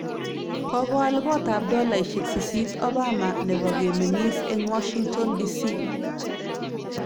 Kokoal koot ab dolaunik 8.1 Obama nebo kemeng'iis eng Washington DC